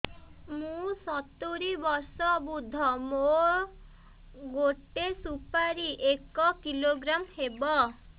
ମୁଁ ସତୂରୀ ବର୍ଷ ବୃଦ୍ଧ ମୋ ଗୋଟେ ସୁପାରି ଏକ କିଲୋଗ୍ରାମ ହେବ